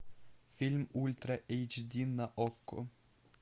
фильм ультра эйч ди на окко